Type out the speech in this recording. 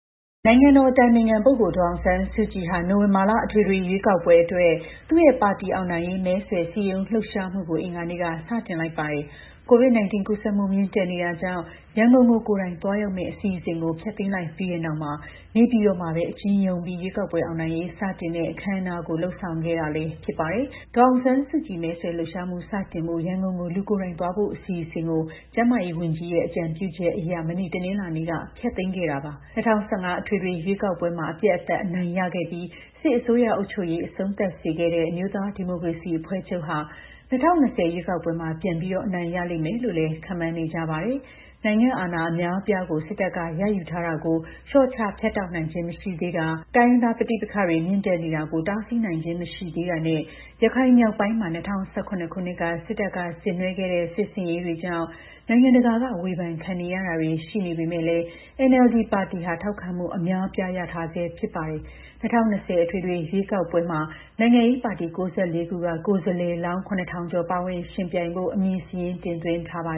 နိုင်ငံတော် အတိုင်ပင်ခံ ပုဂ္ဂိုလ် ဒေါ်အောင်ဆန်းစုကြည်ဟာ နိုဝင်ဘာလ အထွေထွေ ရွေးကောက်ပွဲအတွက် သူ့ရဲ့ ပါတီ အောင်နိုင်ရေး မဲဆွယ်စည်းရုံးလှုပ်ရှားမှုကို အင်္ဂ်ါနေ့က စတင်လိုက်ပါတယ်။ COVID 19 ကူးစက်မှု မြင့်တက်နေတာကြောင့် ရန်ကုန်ကို ကိုယ်တိုင် သွားရောက်မယ့် အစီအစဉ်ကို ဖျက်သိမ်းလိုက်ပြီးတဲ့နောက် နေပြည်တော်မှာပဲ အကျဉ်းရုံးပြီး ရွေးကောက်ပွဲ အောင်နိုင်ရေး စတင်တဲ့ အခမ်းအနားကို လုပ်ဆောင်ခဲ့တာလည်း ဖြစ်ပါတယ်။ ဒေါ်အောင်ဆန်းစုကြည် မဲဆွယ်လှုပ်ရှားမှုစတင်ဖို့ ရန်ကုန်ကို လူကိုယ်တိုင် သွားဖို့ အစီအစဉ်ကို ကျန်းမာရေးဝန်ကြီးရဲ့ အကြံပြုချက်အရ မနေ့ တနင်္လာနေ့က ဖျက်သိမ်းခဲ့တာပါ။ ၂၀၁၅ အထွေထွေ ရွေးကောက်ပွဲမှာ အပြတ်အသတ် အနိုင်ရခဲ့ပြီး စစ်အစိုးရ အုပ်ချုပ်ရေး အဆုံးသတ်စေခဲ့တဲ့ အမျိုးသား ဒီမိုကရေစီအဖွဲ့ချုပ်ဟာ ၂၀၂၀ ရွေးကောက်ပွဲမှာ ပြန်ပြီး အနိုင်ရလိမ့်မယ်လို့လည်း ခန့်မှန်းနေကြပါတယ်။ နိုင်ငံ့အာဏာ အများအပြားကို စစ်တပ်က ရယူထားတာကို လျှော့ချ ဖြတ်တောက်နိုင်ခြင်း မရှိသေးတာ၊ တိုင်းရင်းသား ပဋိပက္ခတွေ မြင့်တက်နေတာကို တားဆီးနိုင်ခြင်း မရှိသေးတာနဲ့ ရခိုင်မြောက်ပိုင်းမှာ၂၀၁၇ ခုနှစ်က စစ်တပ်က ဆင်နွှဲခဲ့တဲ့ စစ်ဆင်ရေးတွေကြောင့် နိုင်ငံတကာက ဝေဖန်ခံနေရတာတွေ ရှိနေမဲ့လည်း (NLD)ပါတီဟာ ထောက်ခံမှု အများအပြားရထားဆဲ ဖြစ်ပါတယ်။ ၂၀၂၀ အထွေထွေ ရွေးကောက်ပွဲမှာ နိုင်ငံရေး ပါတီ ၉၄ ခုက ကိုယ်စားလှယ်လောင်း ၇,၀၀၀ ကျော် ပါဝင် ယှဉ်ပြိုင်ဖို့ အမည်စာရင်း တင်သွင်းထားပါ